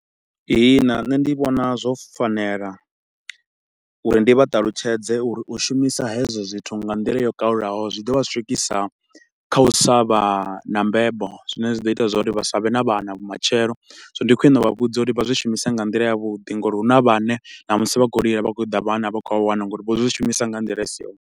Ihina nṋe ndi vhona zwo fanela uri ndi vha ṱalutshedze uri u shumisa hezwo zwithu nga nḓila yo kalulaho zwi ḓo vha swikisa kha u sa vha na mbebo, zwine zwi ḓo ita uri vha sa vhe na vhana matshelo. Zwino ndi khwine u vha vhudza uri vha zwi shumise nga nḓila ya vhuḓi nga uri huna vhane na musi vha khou lila, vha khou ṱoḓa vhana a vha khou vha wana nga uri vho zwi shumisa nga nḓila i si yone.